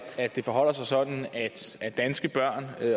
det forholder sig sådan at danske børn